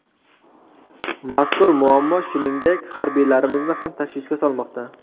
Mazkur muammo, shuningdek, harbiylarimizni ham tashvishga solmoqda.